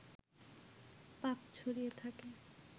পাখ ছড়িয়ে থাকে